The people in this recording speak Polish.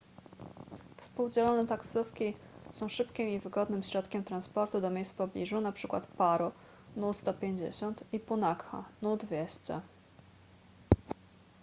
współdzielone taksówki są szybkim i wygodnym środkiem transportu do miejsc w pobliżu np. paro nu 150 i punakha nu 200